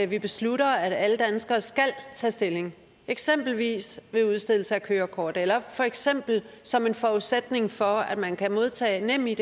vi beslutter at alle danskere skal tage stilling eksempelvis ved udstedelse af kørekort eller for eksempel som en forudsætning for at man kan modtage nemid